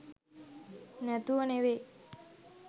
නැතුව නෙවෙයි.